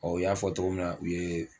Ɔ u y'a fɔ togo min na u ye